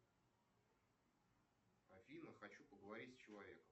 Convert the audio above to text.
афина хочу поговорить с человеком